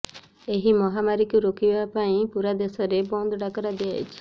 ଏହି ମହାମାରୀକୁ ରୋକିବା ପାଇଁ ପୁରା ଦେଶରେ ବନ୍ଦ ଡାକରା ଦିଆଯାଇଛି